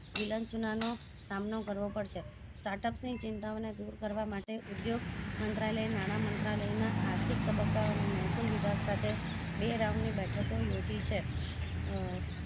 વિર્ચ્ચુળના નો સામનો કરવો પડશે startup ની ચિંતા ઓને દુર કરવા માટે ઉદ્યોગ મંત્રાલય નાણાં મંત્રાલય ના આર્થિક તબ્બકાઓને મહેસુલ વિભાગ સાથે બે round ની બેઠકો યોજી છે